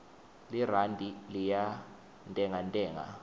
lirandi liyantengantenga